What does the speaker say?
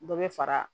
Dɔ bɛ fara